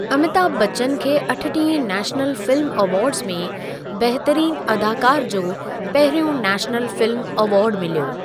अमीताभ बच्चन खे अठटीहें national film awards में बहितरीन अदाकार जो पहिरियों नेशनल फिल्म अवार्ड मिलियो।